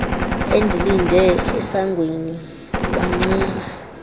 endilinde esangweni wancuma